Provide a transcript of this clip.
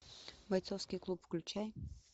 бойцовский клуб включай